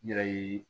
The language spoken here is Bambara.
N yɛrɛ ye